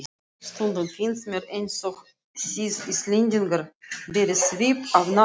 Stundum finnst mér einsog þið Íslendingar berið svip af náttúrunni.